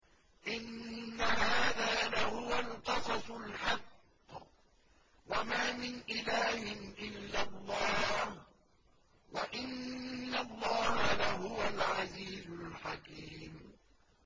إِنَّ هَٰذَا لَهُوَ الْقَصَصُ الْحَقُّ ۚ وَمَا مِنْ إِلَٰهٍ إِلَّا اللَّهُ ۚ وَإِنَّ اللَّهَ لَهُوَ الْعَزِيزُ الْحَكِيمُ